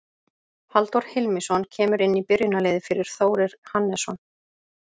Halldór Hilmisson kemur inn í byrjunarliðið fyrir Þórir Hannesson.